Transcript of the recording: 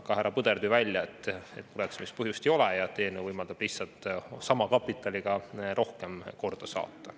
Aga härra Põder tõi välja, et muretsemiseks põhjust ei ole ja et eelnõu võimaldab lihtsalt sama kapitaliga rohkem korda saata.